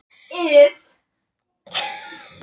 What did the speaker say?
Þú ert svo miklu hressilegri, sagði hún.